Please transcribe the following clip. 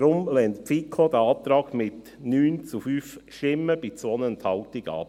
Deshalb lehnt die FiKo diesen Antrag mit 9 zu 5 Stimmen bei 2 Enthaltungen ab.